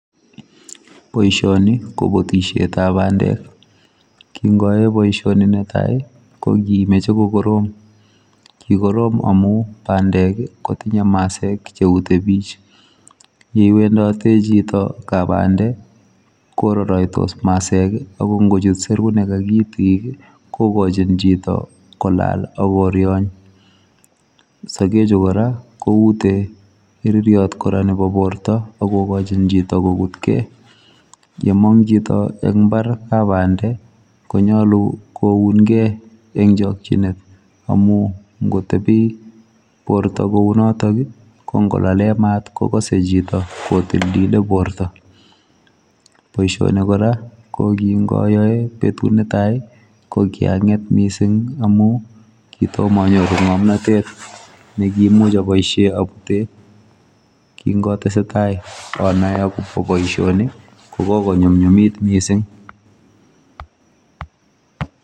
Boisioni ko butisietab bandek, kingoe boisioni netai ii, ko kimeche ko korom, kikorom amu bandek ii, kotinye masek che utebich, ye iwendote chito kap bande, kororoitos masek ii ako ngochut serunek ak itik ii, kokochin chito kolaal ak koryon, sokechu kora koute iriryot kora nebo borta ak kokochin chito kokutkei, yemong chito eng mbar kap bande, konyolu kounkei eng chokchinet, amu ngotebi borta kounotok ii, ko ngolale mat kokose chito kotiltile borta, boisioni kora ko kingoyoe betut ne tai ii, ko kianget mising amu kitom anyoru ngomnotet nekimuch aboisie abute, kingotesetai anae akobo boisioni ko kokonyumnyumit mising.